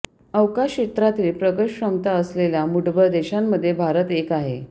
अवकाश क्षेत्रातील प्रगत क्षमता असलेल्या मूठभर देशांमध्ये भारत एक आहे